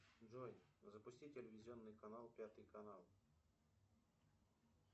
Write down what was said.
джой запусти телевизионный канал пятый канал